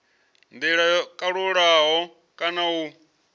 ndila yo kalulaho kana u